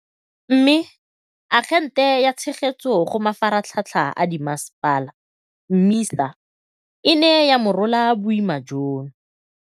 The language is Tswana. Mme, Agente ya Tshegetso go Mafaratlhatlha a Dimmasepala, MISA, e ne ya morola boima jono.